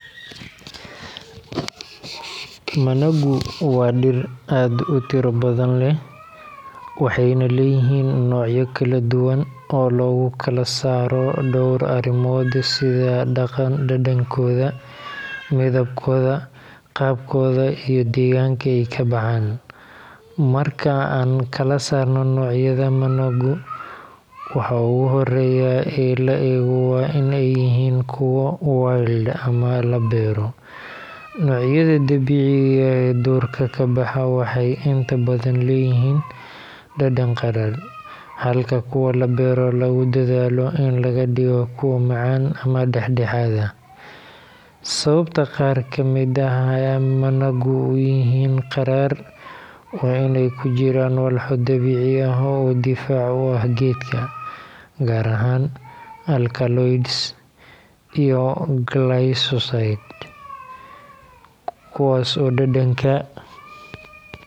Managu waa dhir aad u tiro badan leh, waxayna leeyihiin noocyo kala oo lagu kala saaro dhowr arrimood sida dhadhankooda, midabkooda, qaabkooda iyo deegaanka ay ka baxaan. Marka aan kala saarno noocyada managu, waxa ugu horreeya ee la eego waa in ay yihiin kuwo wild ama la beero. Noocyada dabiiciga ah ee duurka ka baxa waxay inta badan leeyihiin dhadhan qadhaadh, halka kuwa la beero lagu dadaalo in laga dhigo kuwo macaan ama dhexdhexaad ah. Sababta qaar ka mid ah managu u yihiin qadhaadh waa in ay ku jiraan walxo dabiici ah oo difaac u ah geedka, gaar ahaan alkaloids iyo glycosides, kuwaas oo dhadhanka.